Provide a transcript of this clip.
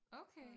Okay!